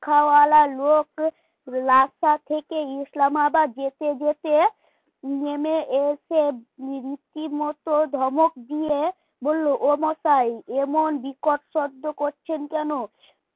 খাওয়ালা লোক রাস্তা থেকে ইসলামাবাদ যেতে যেতে নেমে এসে রীতিমতো ধমক দিয়ে বললে ও মশাই এমন বিকট শব্দ করছেন কেন?